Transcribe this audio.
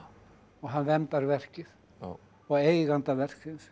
hann verndar verkið og eiganda verksins